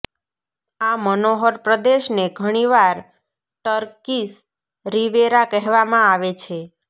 આ મનોહર પ્રદેશને ઘણી વાર ટર્કીશ રિવેરા કહેવામાં આવે છે